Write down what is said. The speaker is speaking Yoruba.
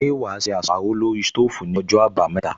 Ṣé wà á se àsáró lórí sítóòfù ní ọjọ́ àbámẹ́ta